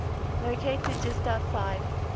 located just outside